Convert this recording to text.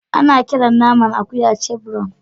Ana kiran naman akuya chevron.